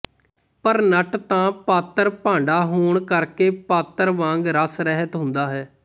ਪਰ ਨਟ ਤਾਂ ਪਾਤਰ ਭਾਂਡਾਹੋਣ ਕਰਕੇ ਪਾਤਰ ਵਾਂਗ ਰਸਰਹਿਤ ਹੁੰਦਾ ਹੈ